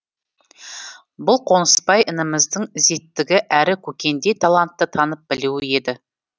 бұл қонысбай ініміздің ізеттігі әрі көкендей талантты танып білуі еді